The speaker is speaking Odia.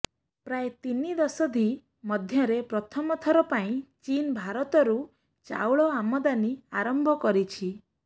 ପ୍ରାୟ ତିନି ଦଶନ୍ଧି ମଧ୍ୟରେ ପ୍ରଥମ ଥର ପାଇଁ ଚୀନ୍ ଭାରତରୁ ଚାଉଳ ଆମଦାନୀ ଆରମ୍ଭ କରିଛି